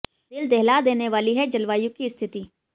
दिल दहला देने वाली है जलवायु की स्थिति